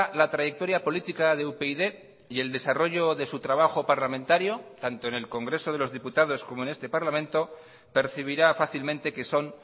la trayectoria política de upyd y el desarrollo de su trabajo parlamentario tanto en el congreso de los diputados como en este parlamento percibirá fácilmente que son